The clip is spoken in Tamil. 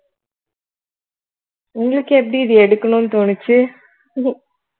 உங்களுக்கு எப்படி இது எடுக்கணும்னு தோணுச்சு